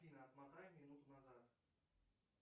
афина отмотай минуту назад